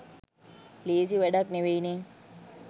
ලේසි වැඩක් නෙවෙයි නේ